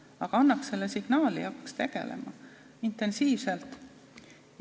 Aga annaks selle signaali ja hakkaks tegelema, intensiivselt.